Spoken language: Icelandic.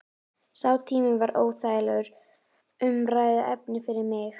Sá tími var óþægilegt umræðuefni fyrir mig.